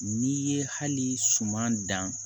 N'i ye hali suman dan